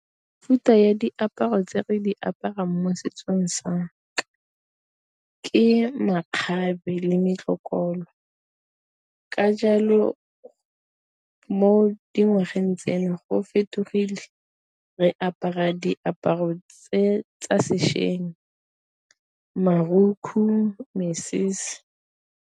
ya diaparo tse re di aparang mo setsong ke makgabe le metlokolo, ka jalo mo dingwageng tseno go fetogile re apara diaparo tse tsa sešweng marukgu, mesese.